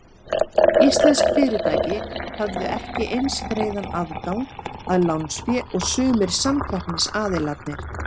Íslensk fyrirtæki höfðu ekki eins greiðan aðgang að lánsfé og sumir samkeppnisaðilarnir.